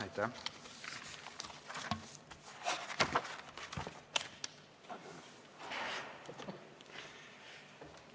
Aitäh!